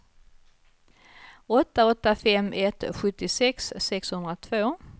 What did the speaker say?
åtta åtta fem ett sjuttiosex sexhundratvå